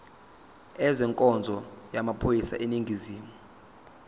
ezenkonzo yamaphoyisa aseningizimu